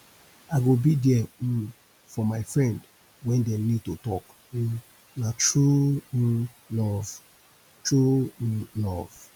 i go be there um for my friend wen dem need to talk um na true um love true um love